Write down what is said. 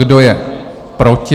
Kdo je proti?